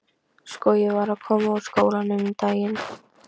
Sko, ég var að koma úr skólanum um daginn.